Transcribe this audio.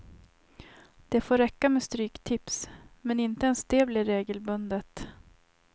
Det får räcka med stryktips, men inte ens det blir regelbundet.